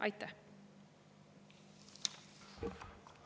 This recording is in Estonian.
Aitäh!